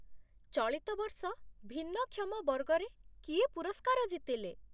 ଚଳିତ ବର୍ଷ ଭିନ୍ନକ୍ଷମ ବର୍ଗରେ କିଏ ପୁରସ୍କାର ଜିତିଲେ?